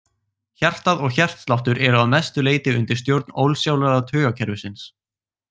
Hjartað og hjartsláttur eru að mestu leyti undir stjórn ósjálfráða taugakerfisins.